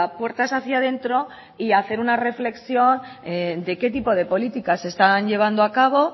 puertas hacia dentro y hacer una reflexión de qué tipo de políticas se están llevando a cabo